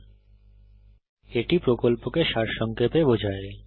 এটি কথ্য টিউটোরিয়াল প্রকল্পকে সারসংক্ষেপে বোঝায়